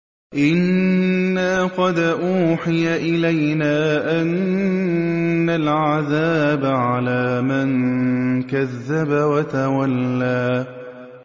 إِنَّا قَدْ أُوحِيَ إِلَيْنَا أَنَّ الْعَذَابَ عَلَىٰ مَن كَذَّبَ وَتَوَلَّىٰ